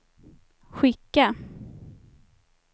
skicka